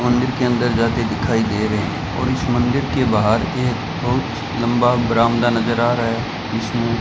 मंदिर के अंदर जाते दिखाई दे रहे हैं और इस मंदिर के बाहर एक बहुत लंबा बरामदा नजर आ रहा है इसमें --